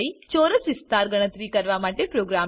ચોરસ વિસ્તાર ગણતરી કરવા માટે પ્રોગ્રામ લખો